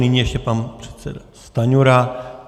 Nyní ještě pan předseda Stanjura.